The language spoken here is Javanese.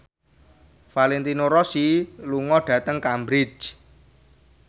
Valentino Rossi lunga dhateng Cambridge